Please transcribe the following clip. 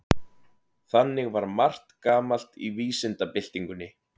Þannig var margt gamalt í vísindabyltingunni.